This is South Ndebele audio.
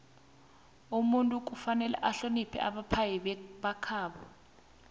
umuntu kufanele ahloniphe abaphai bakwabo